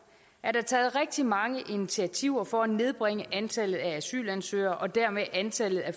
er der taget rigtig mange initiativer for at nedbringe antallet af asylansøgere og dermed antallet af